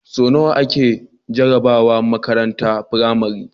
So nawa ake jarabawa a makarantar pramari